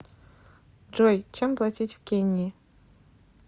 джой чем платить в кении